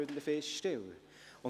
– Das ist nicht der Fall.